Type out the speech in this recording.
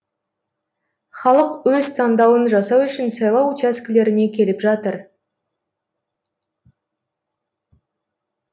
халық өз таңдауын жасау үшін сайлау учаскелеріне келіп жатыр